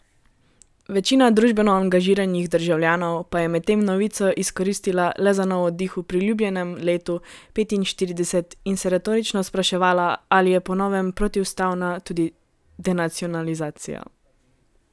Večina družbeno angažiranih državljanov pa je medtem novico izkoristila le za nov oddih v priljubljenem letu petinštirideset in se retorično spraševala, ali je po novem protiustavna tudi denacionalizacija.